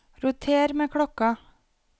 roter med klokka